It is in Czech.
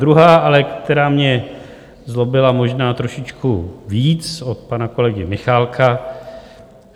Druhá, ale která mě zlobila možná trošičku víc, od pana kolegy Michálka.